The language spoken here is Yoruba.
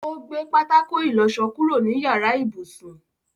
Ó gbé pátákó ìlọsọ kúrò ní yàrá ibùsùn.